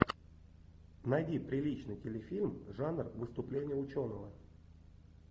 найди приличный телефильм жанр выступление ученого